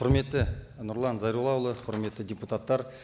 құрметті нұрлан зайроллаұлы құрметті депутаттар